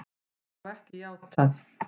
Þau hafa ekki játað.